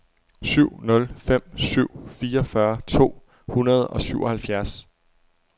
syv nul fem syv fireogfyrre to hundrede og syvoghalvfjerds